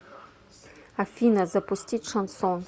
афина запустить шансон